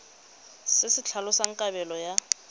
se se tlhalosang kabelo ya